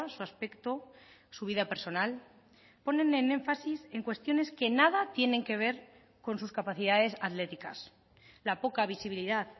su aspecto su vida personal ponen en énfasis en cuestiones que nada tienen que ver con sus capacidades atléticas la poca visibilidad